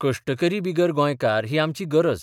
कश्टकरी बिगर गोंयकार ही आमची गरज.